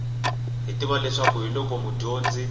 hi tiva leswi hiloko mudyondzi